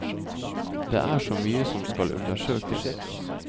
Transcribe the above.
Det er så mye som skal undersøkes.